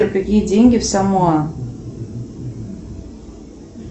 какие деньги в самоа